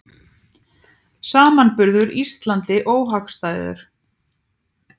Samanburður Íslandi óhagstæður